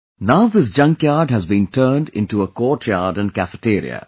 Now this junkyard has been turned into a courtyard and cafeteria